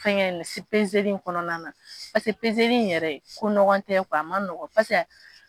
kɔnɔna na in yɛrɛ a man nɔgɔn ko nɔgɔn tɛ a man nɔgɔn